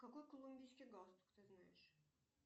какой колумбийский галстук ты знаешь